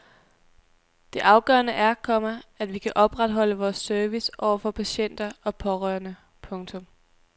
Det afgørende er, komma at vi kan opretholde vores service over for patienter og pårørende. punktum